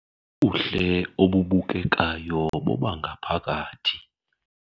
Ubuhle obubukekayo bobangaphakathi.